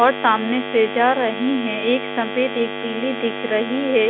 और सामने से जा रही हैं एक सफेद एक पीली दिख रही है।